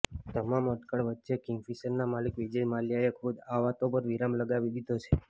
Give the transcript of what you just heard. તમામ અટકળ વચ્ચે કિંગફિશરના માલિક વિજય માલ્યાએ ખુદ આ વાતો પર વિરામ લગાવી દીધો છે